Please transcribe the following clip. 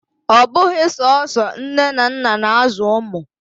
Ọ bụghị sọsọ nne na nna na-azụ ụmụ.